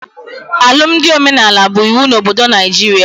Alụmdi omenala bụ iwu na obodo Naijiria